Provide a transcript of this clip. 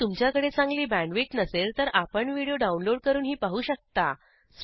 जर तुमच्याकडे चांगली बॅण्डविड्थ नसेल तर आपण व्हिडिओ डाउनलोड करूनही पाहू शकता